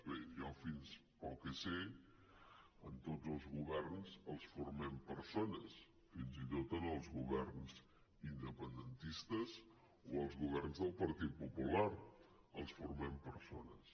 bé jo pel que sé tots els governs els formem persones fins i tot els governs independentistes o els governs del partit popular els formem persones